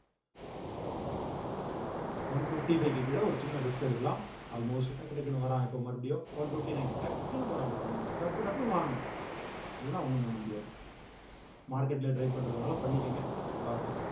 one fifty five க்கு கீழ ஒரு சின்ன risk எடுக்கலாம் almost டக்கு டக்குனு வராங்க இப்ப மறுபடியும் one fifty nine டக்குனு போறான் பாருங்க நீங்க டப்பு டப்புன்னு வாங்கணும் இல்லன்னா ஒண்ணும் பண்ண முடியாது market ல try பண்றதுனாலும் பண்ணிக்கங்க பார்த்து